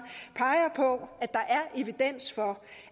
peger på at der er evidens for